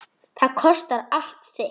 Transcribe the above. Það kostar allt sitt.